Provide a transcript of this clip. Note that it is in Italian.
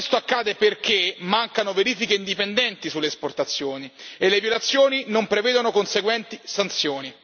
Questo accade perché mancano verifiche indipendenti sulle esportazioni e le violazioni non prevedono conseguenti sanzioni.